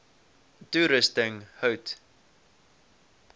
toerusting hout